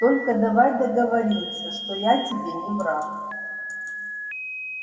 только давай договоримся что я тебе не враг